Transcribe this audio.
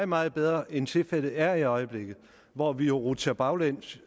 meget bedre end tilfældet er i øjeblikket hvor vi jo rutsjer baglæns